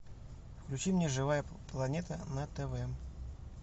включи мне живая планета на тв